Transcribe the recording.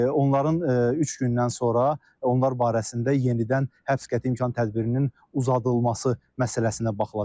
Onların üç gündən sonra onlar barəsində yenidən həbs qəti imkan tədbirinin uzadılması məsələsinə baxılacaq.